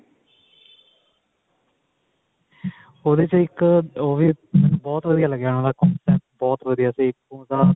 ਉਹਦੇ ਚ ਇੱਕ ਉਹ ਵੀ ਬਹੁਤ ਵਧੀਆ ਲੱਗਿਆ ਬਹੁਤ ਵਧੀਆ ਸੀ ਉਹਦਾ